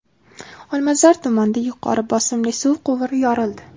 Olmazor tumanida yuqori bosimli suv quvuri yorildi.